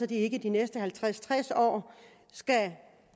de ikke de næste halvtreds til tres år skal